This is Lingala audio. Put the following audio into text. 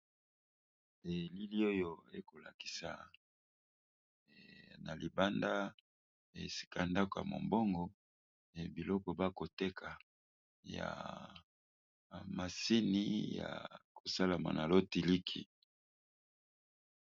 Elili oyo ekolakisa na libanda esika ndaku mombongo e biloko bakoteka ya masini ya kosalama na lotiliki.